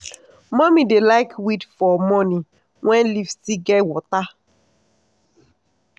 mummy dey like weed for morning when leaf still get water.